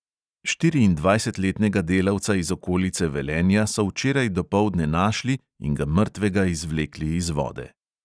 Štiriindvajsetletnega delavca iz okolice velenja so včeraj dopoldne našli in ga mrtvega izvlekli iz vode.